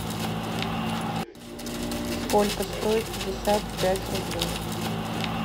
сколько стоит пятьдесят пять рублей